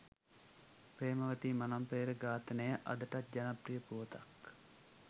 ප්‍රේමවතී මනම්පේරි ඝාතනය අදටත් ජනප්‍රිය පුවතක්